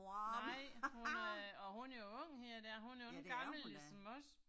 Nej, hun er åh hun er jo ung her da, hun er lige gammel som os